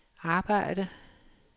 arbejde